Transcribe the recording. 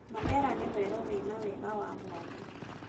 Mandera nĩ werũ wĩna wega wa mwanya.